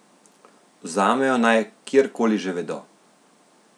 Vzamejo naj kjerkoli že vedo.